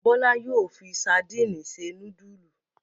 Bọ́lá yóò fi sadínì se núdúlù.